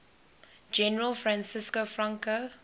general francisco franco